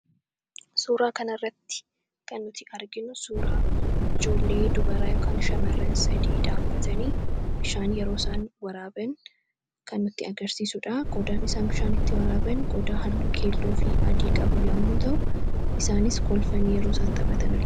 Suuraa kana irratti kan nuti arginu suuraa ijoollee dubaraa yookaan shamaran sadii dhaabbatanii bishaan yeroo isaan waraaban kan nutti agarsiisuudha qodaan isaan bishaan itti waraaban qodaa halluu keelloo fi adii qabu yommuu ta'u isaanis kolfanii yeroo isaan taphatan argina